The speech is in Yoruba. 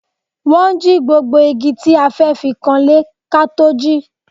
Wọ́n jí gbogbo igi tí a fẹ́ fi kanlé ká tó jí